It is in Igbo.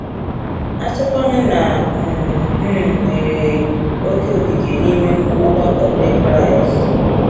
Asikwanu na ị um nwere oke ikike n’ime ọgbakọ Ndị Kraịst?